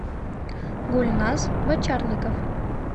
гульназ бочарников